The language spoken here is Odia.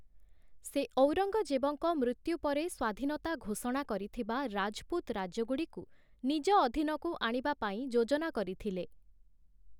ସେ ଔରଙ୍ଗଜେବଙ୍କ ମୃତ୍ୟୁ ପରେ ସ୍ୱାଧୀନତା ଘୋଷଣା କରିଥିବା ରାଜପୁତ ରାଜ୍ୟଗୁଡ଼ିକୁ ନିଜ ଅଧୀନକୁ ଆଣିବା ପାଇଁ ଯୋଜନା କରିଥିଲେ ।